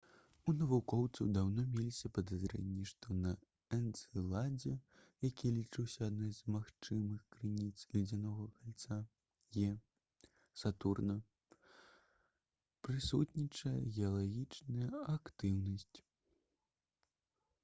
у навукоўцаў даўно меліся падазрэнні што на энцэладзе які лічыўся адной з магчымых крыніц ледзянога кальца «е» сатурна прысутнічае геалагічная актыўнасць